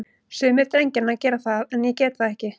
Sumir drengjanna gera það, en ég get það ekki.